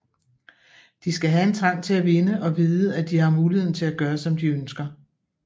De skal have en trang til at vinde og vide at de har muligheden til at gøre som de ønsker